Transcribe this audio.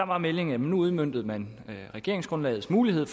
var meldingen at nu udmøntede man regeringsgrundlagets mulighed